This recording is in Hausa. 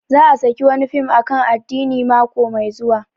Za a saki wani fim akan addini mako mai zuwa